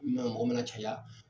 Nan ko mana caya